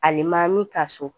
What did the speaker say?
Alemaami ka so